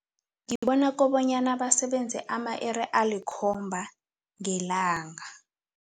Ngibona kobanyana basebenze ama-iri alikhomba ngelanga.